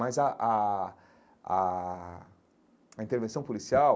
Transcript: Mas a a a a intervenção policial,